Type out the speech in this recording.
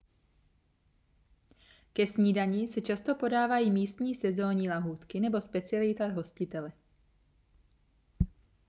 ke snídani se často podávají místní sezónní lahůdky nebo specialita hostitele